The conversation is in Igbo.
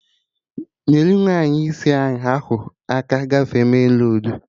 Nyerụ nwaanyị isi ahụ aka gafee menroadu!